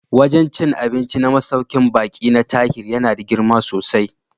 Wajen cin abinci na masaukin baƙi na Tahir yana da girma sosai